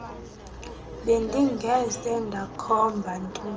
bendingeze ndakhomba ntombi